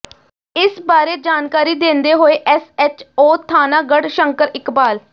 ਇਸ ਬਾਰੇ ਜਾਣਕਾਰੀ ਦਿੰਦੇ ਹੋਏ ਐਸ ਐੱਚ ਓ ਥਾਣਾ ਗੜ੍ਹਸ਼ੰਕਰ ਇਕਬਾਲ